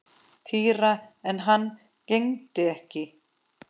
Týra en hann gegndi ekki.